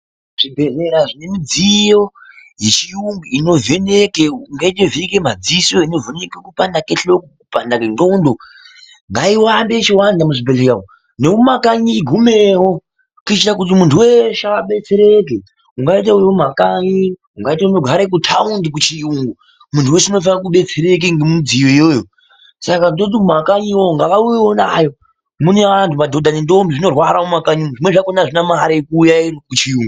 Zvibhendlera zvine midziyo yechiyungu inovheneka. Imwe yacho inovheneka madziso, imweni kupanda kwehloko, kupanda kwendxondo. Ngairambe ichiwanda muzvibhendleya umu. Nemumakanyi igumewo kuitira kuti muntu weshe abetsereke. Ungaita uri mumakanyi, ungaita unogara kutaundi kuchiyungu. Muntu weshe unofanira kudetsereka ngemidziyo iyoyo. Saka tinoti nemakanyi ngavauyewo nayo. Mune antu madhodha nendombi zvinorwara mumakanyi umu. Zvimweni zvakhona azvina mare yekuuya kuchiyungu.